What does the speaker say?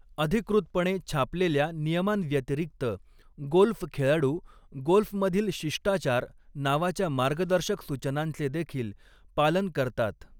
अधिकृतपणे छापलेल्या नियमांव्यतिरिक्त, गोल्फ खेळाडू गोल्फमधील शिष्टाचार नावाच्या मार्गदर्शक सूचनांचे देखील पालन करतात.